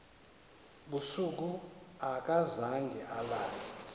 busuku akazange alale